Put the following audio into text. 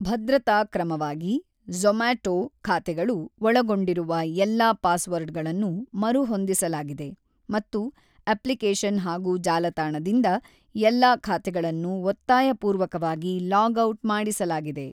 ಭದ್ರತಾ ಕ್ರಮವಾಗಿ, ಝೋಮಾಟೊ ಖಾತೆಗಳು ಒಳಗೊಂಡಿರುವ ಎಲ್ಲ ಪಾಸ್‌ವರ್ಡ್‌ಗಳನ್ನು ಮರುಹೊಂದಿಸಲಾಗಿದೆ ಮತ್ತು ಅಪ್ಲಿಕೇಶನ್ ಹಾಗೂ ಜಾಲತಾಣದಿಂದ ಎಲ್ಲಾ ಖಾತೆಗಳನ್ನು ಒತ್ತಾಯಪೂರ್ವಕವಾಗಿ ಲಾಗ್ ಔಟ್ ಮಾಡಿಸಲಾಗಿದೆ.